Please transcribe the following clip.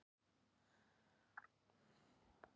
Þar lá hann, ekkert bærðist.